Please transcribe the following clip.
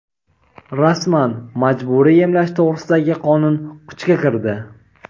Rasman: majburiy emlash to‘g‘risidagi qonun kuchga kirdi.